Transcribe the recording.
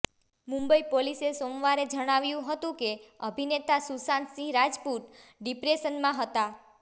મુંબઈ પોલીસે સોમવારે જણાવ્યું હતું કે અભિનેતા સુશાંત સિંહ રાજપૂત ડિપ્રેશનમાં હતા